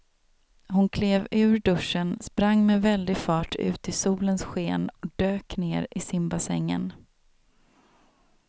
Hon klev ur duschen, sprang med väldig fart ut i solens sken och dök ner i simbassängen.